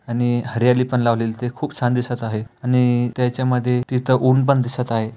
आणि हरियाली पण लावलेली ते खूप छान दिसत आहे आणि त्याच्या मध्ये तिथं ऊन पण दिसत आहे.